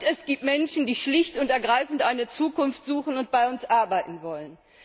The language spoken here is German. Und es gibt Menschen, die schlicht und ergreifend eine Zukunft suchen und bei uns arbeiten wollen.